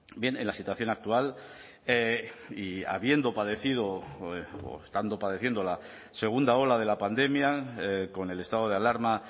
bien en la situación actual y habiendo padecido o estando padeciendo la segunda ola de la pandemia con el estado de alarma